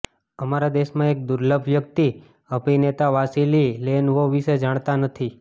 અમારા દેશમાં એક દુર્લભ વ્યક્તિ અભિનેતા વાસીલી લેનવોવ વિશે જાણતા નથી